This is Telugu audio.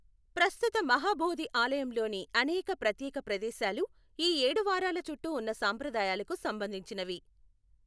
ప్రస్తుత మహాబోధి ఆలయంలోని అనేక ప్రత్యేక ప్రదేశాలు ఈ ఏడు వారాల చుట్టూ ఉన్న సంప్రదాయాలకు సంబంధించినవి.